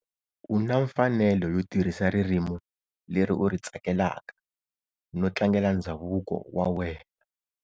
U na mfanelo yo tirhisa ririmi leri u ri tsakelaka no tlangela ndzhavuko wa wena.